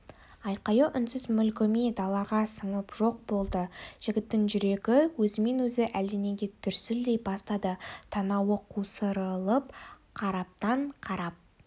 айқайы үнсіз мүлгіме далаға сіңіп жоқ болды жігіттің жүрегі өзімен-өзі әлденеге дүрсілдей бастады танауы қусырылып қараптан-қарап